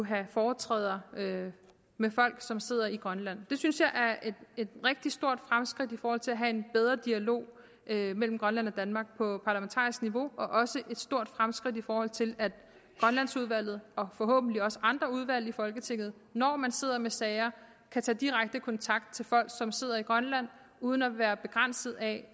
have foretræder med folk som sidder i grønland det synes jeg er et rigtig stort fremskridt i forhold til at have en bedre dialog mellem grønland og danmark på parlamentarisk niveau og også et stort fremskridt i forhold til at grønlandsudvalget og forhåbentlig også andre udvalg i folketinget når man sidder med sager kan tage direkte kontakt til folk som sidder i grønland uden at være begrænset af